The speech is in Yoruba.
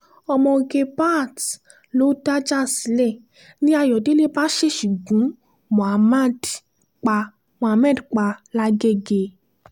ọmọge baat ló dájà sílẹ̀ ni ayọ̀dẹ̀lẹ̀ bá ṣèèṣì gun muhammed pa muhammed pa lágègè